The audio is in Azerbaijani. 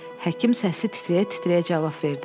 Həkim səsi titrəyə-titrəyə cavab verdi.